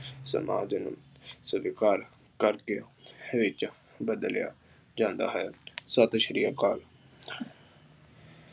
ਸਮਾਜ ਸਵੀਕਾਰ ਕਰਕੇ ਵਿੱਚ ਬਦਲਿਆ ਜਾਂਦਾ ਹੈ। ਸਤਿ ਸ਼੍ਰੀ ਅਕਾਲ ।